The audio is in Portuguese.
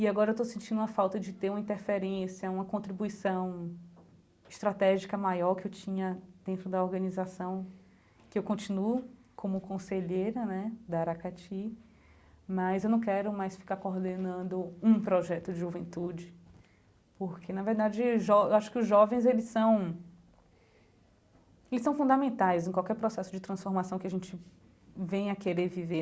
E agora estou sentindo uma falta de ter uma interferência, uma contribuição estratégica maior que eu tinha dentro da organização que eu continuo como conselheira né da Aracati, mas eu não quero mais ficar coordenando um projeto de juventude, porque, na verdade, jo acho que os jovens eles são eles são fundamentais em qualquer processo de transformação que a gente venha querer viver